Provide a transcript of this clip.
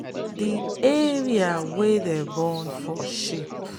the area wey them burn for sheep